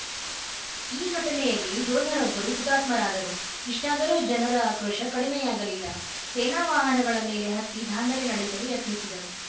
ಈ ಘಟನೆಯಲ್ಲಿ ಯೋಧರೊಬ್ಬರು ಹುತಾತ್ಮರಾದರು ಇಷ್ಟಾದರೂ ಜನರ ಆಕ್ರೋಶ ಕಡಿಮೆಯಾಗಲಿಲ್ಲ ಸೇನಾ ವಾಹನಗಳ ಮೇಲೆ ಹತ್ತಿ ದಾಂಧಲೆ ನಡೆಸಲು ಯತ್ನಿಸಿದರು